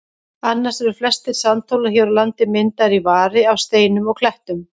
Annars eru flestir sandhólar hér á landi myndaðir í vari af steinum og klettum.